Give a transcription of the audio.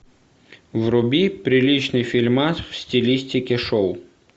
вруби приличный фильмас в стилистике шоу